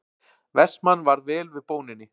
Vestmann varð vel við bóninni.